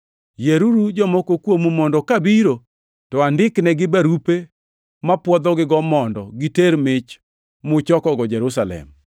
Yieruru jomoko kuomu mondo ka biro to andiknegi barupe mapwodhogigo mondo giter mich muchokogo Jerusalem.